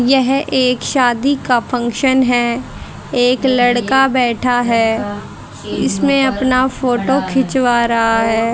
यह एक शादी का फंक्शन हैं एक लड़का बैठा हैं इसमें अपना फोटो खिंचवा रहा हैं।